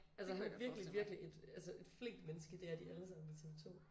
Altså han er virkelig virkelig et altså et flinkt menneske det er de alle sammen i tv2